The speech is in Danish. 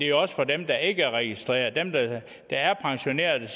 jo også for dem der ikke er registreret dem der er pensioneret og